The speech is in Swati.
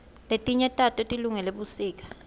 letinye tato tilungele busika